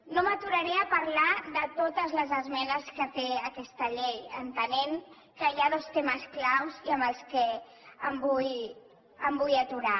no m’aturaré a parlar de totes les esmenes que té aquesta llei entenent que hi ha dos temes clau i en els quals em vull aturar